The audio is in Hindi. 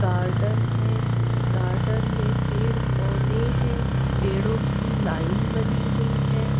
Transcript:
गार्डन है गार्डन मै पेड़ पौधे है पेड़ों की लाइन बनी हुई है।